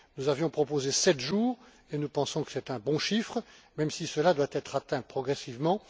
Nous avions proposé sept jours et nous pensons que c'est un bon chiffre, même si cela doit être atteint progressivement.